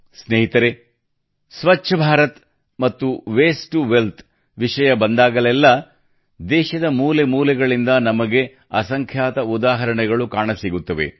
ಸ್ನೇಹಿತರೇ ಸ್ವಚ್ಛ ಭಾರತ ಮತ್ತು waste to wealth waste to wealth ವಿಷಯ ಬಂದಾಗಲೆಲ್ಲಾ ದೇಶದ ಮೂಲೆ ಮೂಲೆಗಳಿಂದ ನಮಗೆ ಅಸಂಖ್ಯಾತ ಉದಾಹರಣೆಗಳು ಕಾಣಸಿಗುತ್ತವೆ